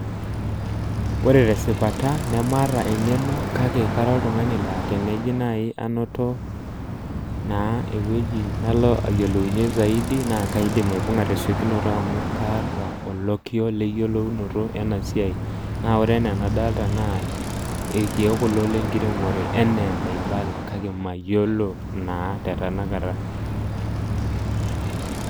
Ore tesipata nemaata engeno kake kara oltungani laa teneji nai anoto naa ewueji nalo ayiolounyie zaidi naa kaidim aibunga tesiokinoto amu kaata olokiyo leyieolounoto ena siai, naa ore enaa enadolta naa irkiek kulo lenkiremore anaa enaibala kake mayiolo naa tetanakata.